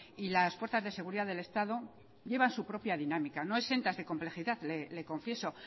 y las fuerzas de seguridad del estado llevan su propia dinámica no exentas de complejidad le confieso